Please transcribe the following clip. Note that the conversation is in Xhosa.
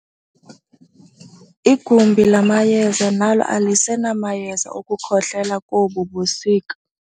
Igumbi lamayeza nalo alisenamayeza okukhohlela kobu busika.